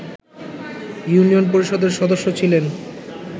union পরিষদের সদস্য ছিলেন